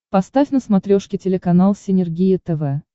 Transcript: поставь на смотрешке телеканал синергия тв